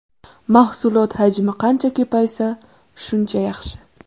Mahsulot hajmi qancha ko‘paysa, shuncha yaxshi.